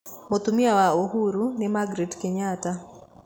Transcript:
Mũtumia wa Uhuru ni Magret Kenyatta.